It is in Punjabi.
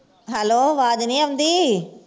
hello ਆਵਾਜ਼ ਨੀ ਆਉਂਦੀ